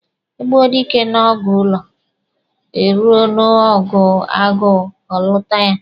E gbuo dike n'ọgụ ụlọ, eruo n'ọgụ agụụ, ọ lụta ya.